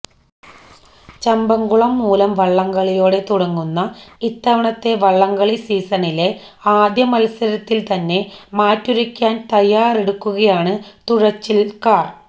ചമ്പക്കുളം മൂലം വള്ളംകളിയോടെ തുടങ്ങുന്ന ഇത്തവണത്തെ വള്ളംകളി സീസണിലെ ആദ്യ മത്സരത്തില് തന്നെ മാറ്റുരയ്ക്കാന് തയ്യാറെടുക്കുകയാണ് തുഴച്ചില്ക്കാര്